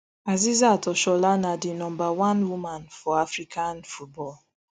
asisat oshoala na di number one woman for african football